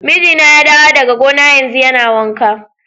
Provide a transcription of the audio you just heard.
Mijina ya dawo daga gona yanzu, yana wanka.